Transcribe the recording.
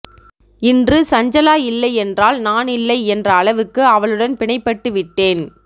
இன்று சஞ்சலா இல்லையென்றால் நானில்லை என்ற அளவுக்கு அவளுடன் பிணைபட்டு விட்டேன்